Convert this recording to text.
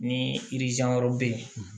Ni wɛrɛw bɛ yen